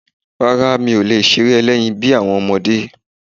Rárá, mi ò lè ṣeré ẹlẹ́yin bí àwọn ọmọdé.